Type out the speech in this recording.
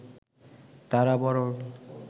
তাঁরা বরং